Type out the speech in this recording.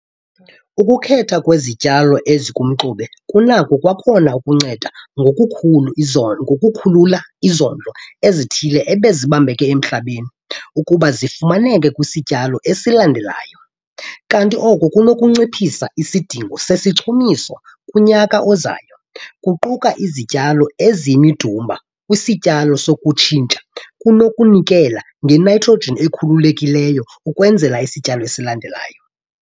Ukukhethwa kwezityalo ezikumxube kunako kwakhona ukunceda ngokukhulula izondlo ezithile ebezibambeke emhlabeni ukuba zifumaneke kwisityalo esilandelayo, kanti oko kunokunciphisa isidingo sesichumiso kunyaka ozayo. Ukuquka izityalo eziyimidumba kwisityalo sokutshintsha kunokunikela ngenitrogen ekhululekileyo ukwenzela isityalo esilandelayo.